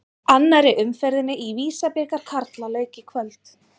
Annarri umferðinni í Visa-bikar karla lauk í kvöld.